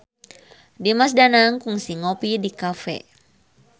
Dimas Danang kungsi ngopi di cafe